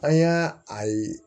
An y'a a ye